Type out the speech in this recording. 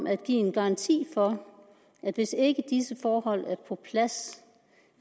at give en garanti for at hvis ikke disse forhold er på plads